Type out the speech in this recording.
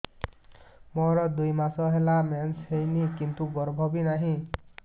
ମୋର ଦୁଇ ମାସ ହେଲା ମେନ୍ସ ହେଇନି କିନ୍ତୁ ଗର୍ଭ ବି ନାହିଁ